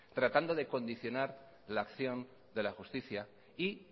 tratando de condicionar la acción de la justicia y